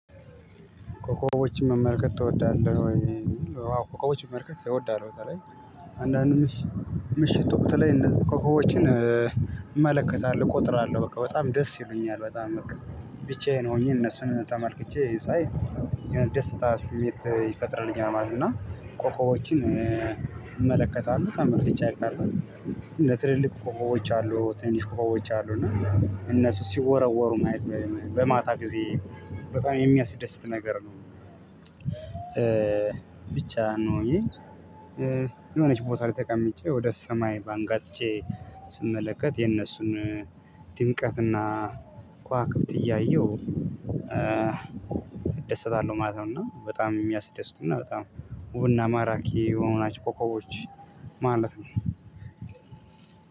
ኮኮቦችን መመልከት ትወዳለህ? ወይ ኮኮቦችን መመልከት እወዳለው በተለይ አንዳንድ ምሽት ምሽት ወቅት እንደዚህ ኮኮቮችን እመለከታለሁ እቆጥራለሁ በቃ በጣም ደስ ይሉኛል በጣም ብቻዬን ሆኜ እነሱን ተመልክቼ ሳይ ደስታ ስሜት ይፈጥርልኛል ማለት ነው። እና ኮኮቦችን እመለከታለሁ ተመልክቼ አይቀርም ለትልልቅ ኮኮቦች አሉ ትንሽ ኮኮቦች አሉ እና እነሱ ሲወረወሩ ማየት በማታ ጊዜ በጣም የሚያስደስት ነገር ነው። ብቻየኝ የሆነች ቦታ ላይ ተቀምጬ ወደ ሰማይ ባንጋጥጬ ስመለከት የነሱን ድምቀትና ከዋክብት እያየሁ እደሰታለሁ ማለት ነው። እና በጣም የሚያስደስቱና በጣም ውብና ማራኪ የሆና ናቸው ኮኮቦች ማለት ነው።